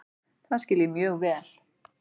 Það skil ég mjög vel.